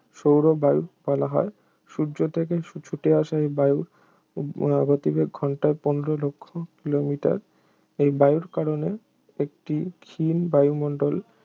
সৌরবায়ু বলা হয় সূর্য থেকে ছু~ ছুটে আসা এই বায়ুর গতিবেগ ঘণ্টায় পনেরো লক্ষ কিলোমিটার এই বায়ুর কারণে একটি ক্ষীণ বায়ুমণ্ডল